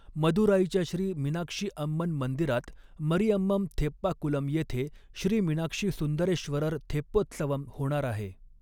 मदुराईच्या श्री मीनाक्षी अम्मन मंदिरात, मरिअम्मम थेप्पा कुलम येथे श्री मीनाक्षी सुंदरेश्वरर थेप्पोत्सवम होणार आहे.